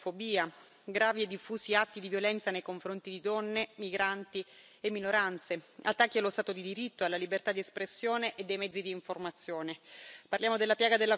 Parliamo di razzismo, xenofobia, gravi e diffusi atti di violenza nei confronti di donne, migranti e minoranze, attacchi allo Stato di diritto e alla libertà di espressione e dei mezzi di informazione.